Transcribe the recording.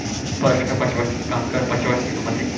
পড়াশোনার পাশাপাশি কাজকর্মের পাশাপাশি আমাদের,